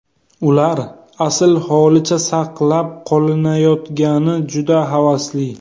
Ular asl holicha saqlab qolinayotgani juda havasli.